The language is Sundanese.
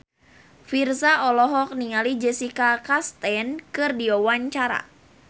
Virzha olohok ningali Jessica Chastain keur diwawancara